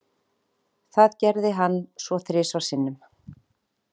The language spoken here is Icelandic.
Það gerði hann svo þrisvar sinnum.